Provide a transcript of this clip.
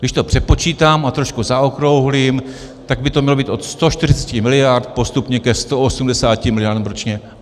Když to přepočítám a trošku zaokrouhlím, tak by to mělo být od 140 miliard postupně ke 180 miliardám ročně.